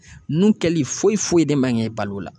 Ninnu kɛli foyiffoyi de man k'e bal'o la.